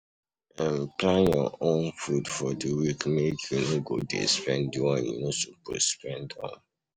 um Plan your um food for di week make you no go de spend di one you no suppose spend um